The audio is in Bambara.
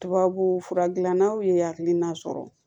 Tubabufura gilannaw ye hakilina sɔrɔ